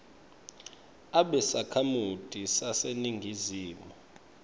abe sakhamuti saseningizimu